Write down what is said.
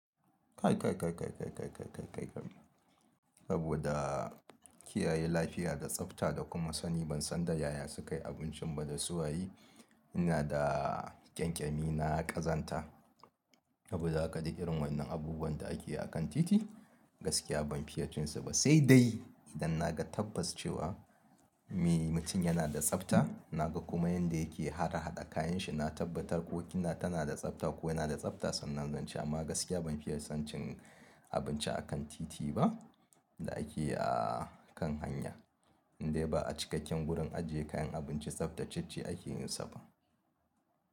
Kai, kai, kai, kai, kai, kai, kai, kai, kai. Saboda kiyaye lafiya da tsafta da kuma sani ban san da yaya sukayi abincin ba da suwayi ina da ƙyanƙyami na ƙazanta. Saboda haka duk irin wa'innan abubuwan da ake yi a kan titi gaskiya ban fiya cinsu ba sai dai idan na ga tabbas cewa me mutum yana da tsafta, na ga kuma yanda yake harhada kayan shi. Na tabbatar ko kina tana da tsafta ko yana da tsafta sannan zan ci. Amma gaskiya ban fiye son cin abinci akan titi ba da akeyi a kan hanya. Indai ba a cikakken gurin ajiye kayan abinci tsaftatacce ake yin sa ba.